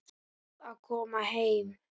Var að koma heim.